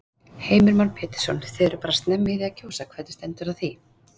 Heimir Már Pétursson: Þið eruð bara snemma í því að kjósa, hvernig stendur á því?